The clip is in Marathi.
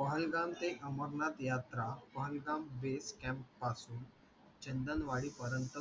पहलगाम ते अमरनाथ यात्रा पहलाम पासून चंदलवाडीपर्यंत